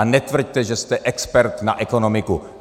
A netvrďte, že jste expert na ekonomiku.